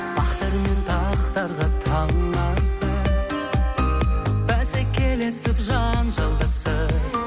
бақтар мен тақтарға таласып бәсекелесіп жанжалдасып